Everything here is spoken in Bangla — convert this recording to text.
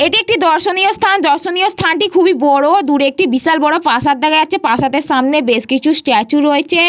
এটি একটি দর্শনীয় স্থান। দর্শনীয় স্থানটি খুবই বড় দুর একটি বিশাল বড় প্রাসাদ দেখা যাচ্ছে প্রাসাদের সামনে বেশ কিছু স্ট্যাচু রয়েছে-এ।